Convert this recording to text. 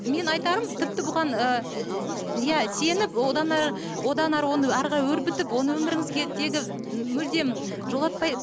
мен айтарым тіпті бұған ыыы иә сеніп одан әрі одан әрі оны әрі қарай өрбітіп оны өміріңзге тегі мүлдем жолатпай